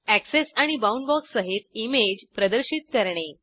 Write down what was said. access आणि बाऊंडबॉक्ससहित image प्रदर्शित करणे